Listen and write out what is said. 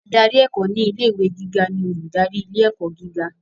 Adarí ẹ̀kọ́ ni ilé ìwé gíga ni olùdarí ilé ẹ̀kọ́ gíga.